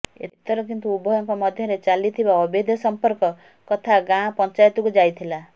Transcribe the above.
ଏଥର କିନ୍ତୁ ଉଭୟଙ୍କ ମଧ୍ୟରେ ଚାଲିଥିବା ଅବୈଧ ସଂପର୍କ କଥା ଗାଁ ପଞ୍ଚାୟତକୁ ଯାଇଥିଲା